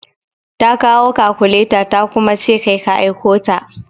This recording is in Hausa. Ta kawo kakuleta ta kuma ce kai ka aiko ta.